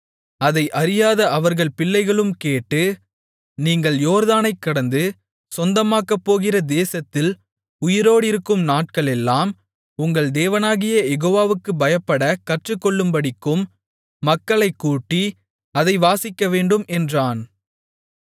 அதை அறியாத அவர்கள் பிள்ளைகளும் கேட்டு நீங்கள் யோர்தானைக் கடந்து சொந்தமாக்கப்போகிற தேசத்தில் உயிரோடிருக்கும் நாட்களெல்லாம் உங்கள் தேவனாகிய யெகோவாவுக்குப் பயப்படக் கற்றுக்கொள்ளும்படிக்கும் மக்களைக்கூட்டி அதை வாசிக்கவேண்டும் என்றான்